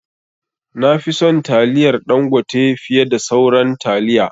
Nafi son taliyar Dangote fiye da sauran taliya